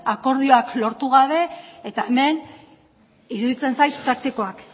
akordioak lortu gabe eta hemen iruditzen zait praktikoak